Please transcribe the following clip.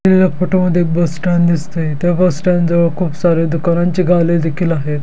दिलेल्या फोटो मध्ये एक बस स्टैंड दिसतय त्या बस स्टैंड जवळ खुप सारे दुकानांचे देखील आहेत.